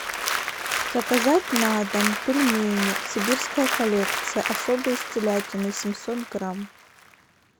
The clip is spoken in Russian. заказать на дом пельмени сибирская коллекция особые с телятиной семьсот грамм